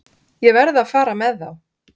Ég verð að fara með þá.